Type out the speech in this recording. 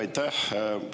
Aitäh!